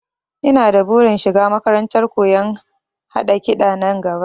Ina da burin shiga makarantar koyon haɗa kiɗa nan gaba